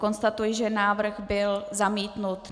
Konstatuji, že návrh byl zamítnut.